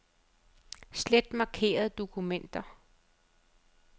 Slet markerede dokumenter.